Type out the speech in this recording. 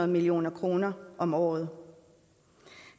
million kroner om året